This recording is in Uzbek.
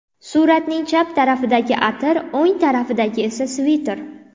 Suratning chap tarafidagi atir, o‘ng tarafidagi esa sviter”.